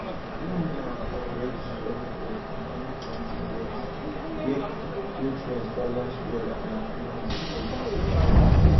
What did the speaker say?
loam na correct soil for companion planting beds where nutrients balance well and plants dey grow together